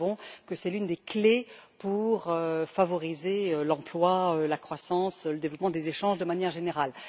Nous savons que c'est l'une des clés pour favoriser l'emploi, la croissance et le développement des échanges de manière générale.